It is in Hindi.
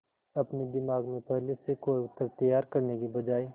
अपने दिमाग में पहले से कोई उत्तर तैयार करने की बजाय